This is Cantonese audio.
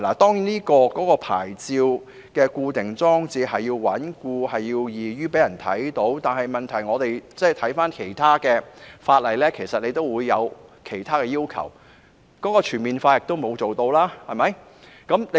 當然，牌照的裝設需要穩固和易於讓人看到，但問題是，其實其他法例也會有其他要求，而當局在這方面亦做得不全面。